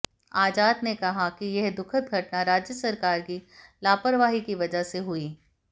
आजाद ने कहा कि यह दुखद घटना राज्य सरकार की लापरवाही की वजह से हुई